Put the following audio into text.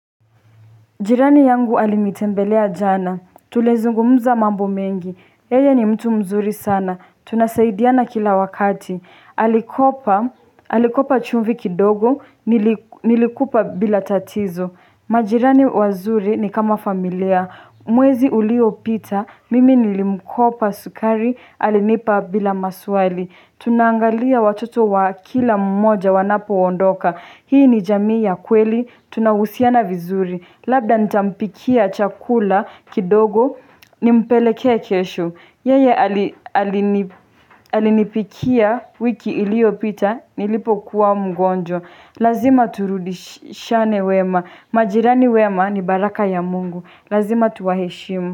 Jirani yangu alinitembelea jana. Tulizungumza mambo mengi. Yeye ni mtu mzuri sana. Tunasaidiana kila wakati. Alikopa Alikopa chumvi kidogo. Nilikupa bila tatizo. Majirani wazuri ni kama familia. Mwezi uliopita. Mimi nilimkopa sukari. Alinipa bila maswali. Tunaangalia watoto wa kila mmoja wanapoondoka. Hii ni jamii ya kweli, tunahusiana vizuri Labda nitampikia chakula kidogo, nimpelekee kesho. Yeye alinipikia wiki iliopita, nilipokuwa mgonjwa. Lazima turudishane wema, majirani wema ni baraka ya mungu Lazima tuwaheshimu.